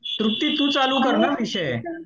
तृप्ती तू चालू कर ना विषय.